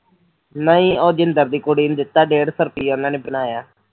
ਨਹੀਂ ਉਹ ਜਿੰਦਰ ਦੀ ਕੁੜੀ ਨੂੰ ਦਿੱਤਾ ਓ ਡੇਢ ਸੋ ਰੁਪਿਆ ਉਹਨਾਂ ਨੇ ਬਣਾਇਆ